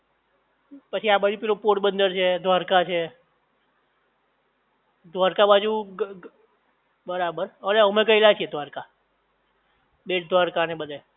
પછી આ બાજુ પેલું પોરબંદર છે, દ્વારકા છે દ્વારકા બાજુ બરાબર અમે ગયેલા છીએ દ્વારકા, બેટ દ્વારકા ને બધે